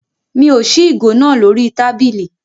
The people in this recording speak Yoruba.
Mi ò ṣí ìgò náà lórí tábìlì.